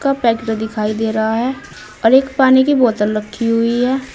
Packed दिखाई दे रहा है और एक पानी की बोतल रखी हुई है।